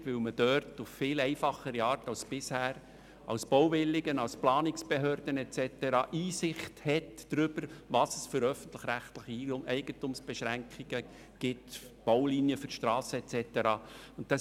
Dies, weil man sich damit als Bauwilliger oder als Planungsbehörde auf viel einfachere Art als bisher Einblick verschaffen kann, welche öffentlich-rechtlichen Eigentumsbeschränkungen wie beispielsweise Baulinien für Stassen und so weiter vorliegen.